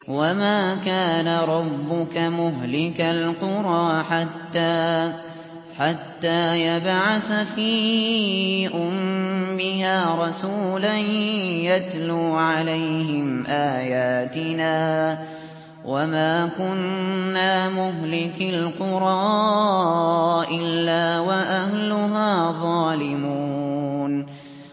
وَمَا كَانَ رَبُّكَ مُهْلِكَ الْقُرَىٰ حَتَّىٰ يَبْعَثَ فِي أُمِّهَا رَسُولًا يَتْلُو عَلَيْهِمْ آيَاتِنَا ۚ وَمَا كُنَّا مُهْلِكِي الْقُرَىٰ إِلَّا وَأَهْلُهَا ظَالِمُونَ